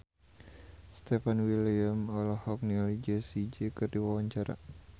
Stefan William olohok ningali Jessie J keur diwawancara